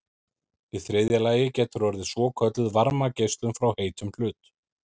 í þriðja lagi getur orðið svokölluð varmageislun frá heitum hlut